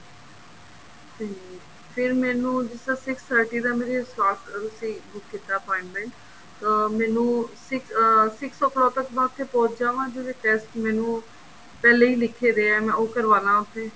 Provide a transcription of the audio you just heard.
ਤੇ ਤੇ ਮੈਨੂੰ six thirty ਦਾ ਮੇਰੇ slot ਤੁਸੀਂ ਬੁੱਕ ਕੀਤਾ appointment ਅਹ ਮੈਨੂੰ six ਅਹ six o clock ਤੱਕ ਮੈਂ ਉੱਥੇ ਪਹੁੰਚ ਜਾਵਾਂਗੀ ਜਿਹੜੇ test ਮੈਨੂੰ ਪਹਿਲੇ ਹੀ ਲਿਖ਼ੇ ਵੇਆ ਮੈਂ ਉਹ ਕਰਵਾਲਾਂ ਉੱਥੇ